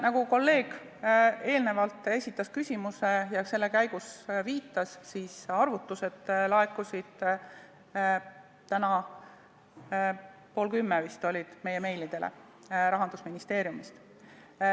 Nagu kolleeg eelnevalt esitatud küsimuse käigus viitas, siis arvutused Rahandusministeeriumist laekusid meie postkasti vist täna pool kümme.